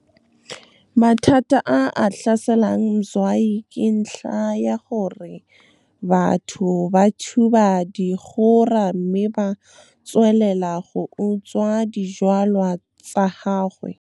Mathata a a tlhaselang Mzwayi ke ntlha ya gore batho ba thuba dikgora mme ba tswelela go utswa dijwalwa tsa gagwe. Mathata a a tlhaselang Mzwayi ke ntlha ya gore batho ba thuba dikgora mme ba tswelela go utswa dijwalwa tsa gagwe.